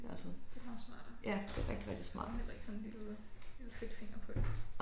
Ja det meget smartere. Så får man heller ikke sådan en lille lille fedtfinger på det